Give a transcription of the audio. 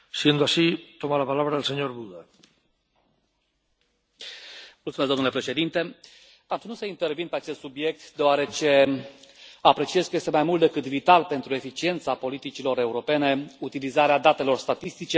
Am ținut să intervin pe acest subiect deoarece apreciez că este mai mult decât vital pentru eficiența politicilor europene utilizarea datelor statistice, dar mai ales evaluarea acestora și a trendurilor care rezultă de aici.